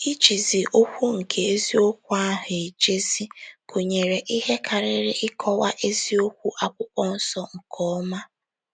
Ijizi okwu nke eziokwu ahụ ejizi' gụnyere ihe karịrị ịkọwa eziokwu Akwụkwọ Nsọ nke ọma.